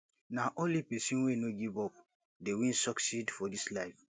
nah only pesin wey no give up dey win succeed for dis life